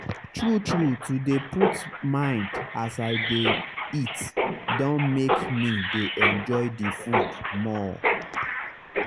true true to dey put mind as i dey eat don make me dey enjoy the food more.